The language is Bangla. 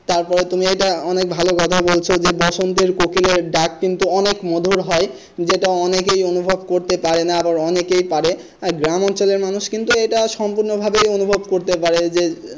তারপরে তুমি এইটা অনেক ভালো কথা বলেছ বসন্তের কোকিলের ডাক কিন্তু অনেক মধুর হয় যেটা অনেকেই অনুভব করতে পারেনা আরো অনেকে পারে গ্রামাঞ্চলের মানুষ কিন্তু এটা সম্পূর্ণভাবে অনুভব করতে পারে যে,